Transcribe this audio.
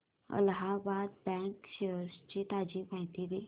Allahabad bank shares ची ताजी माहिती दे